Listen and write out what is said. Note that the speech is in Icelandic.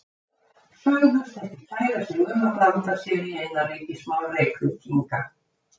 Sögðust ekki kæra sig um að blanda sér í innanríkismál Reykvíkinga.